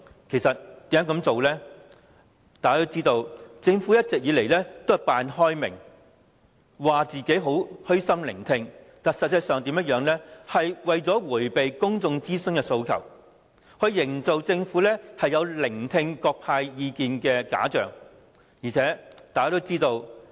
眾所周知，政府一直假裝開明，聲稱會虛心聆聽，但實際上只是為了迴避公眾諮詢的訴求，營造政府有聆聽各方意見的假象。